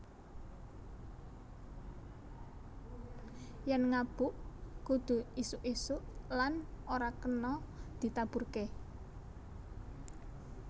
Yèn ngabuk kudu isuk isuk lan ora kena ditaburké